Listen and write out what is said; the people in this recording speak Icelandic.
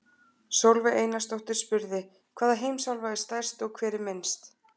Sólveig Einarsdóttir spurði: Hvaða heimsálfa er stærst og hver er minnst?